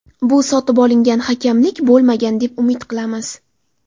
Bu sotib olingan hakamlik bo‘lmagan deb umid qilamiz.